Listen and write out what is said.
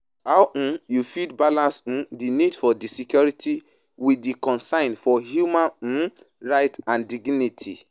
How um you fit balance um di need for di security with di concern for human um rights and dignity?